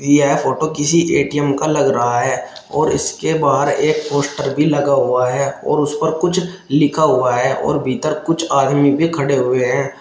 यह फोटो किसी A T M का लग रहा है और इसके बाद एक पोस्टर भी लगा हुआ है और उस पर कुछ लिखा हुआ है और भीतर कुछ आदमी भी खड़े हुए हैं।